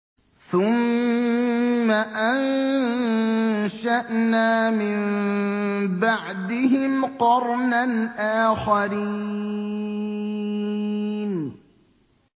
ثُمَّ أَنشَأْنَا مِن بَعْدِهِمْ قَرْنًا آخَرِينَ